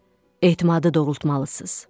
Etimadı doğrultmalısınız.